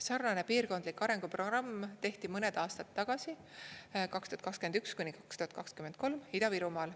Sarnane piirkondlik arenguprogramm tehti mõned aastad tagasi 2021–2023 Ida-Virumaal.